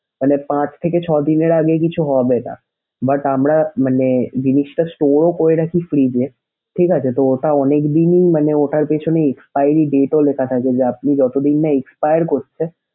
মানে পাঁচ থেকে ছয় দিনের আগে কিছু হবেনা but আমরা মানে জিনিসটা store ও করে রাখি fridge এ ঠিক আছে তো ওটা অনেকদিনই মানে ওটার পিছনে expiry date ও লেখা থাকে যে আপনি যতদিন না expire করছে।